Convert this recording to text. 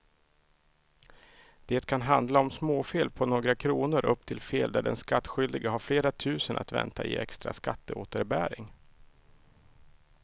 Det kan handla om småfel på några kronor upp till fel där den skattskyldige har flera tusen att vänta i extra skatteåterbäring.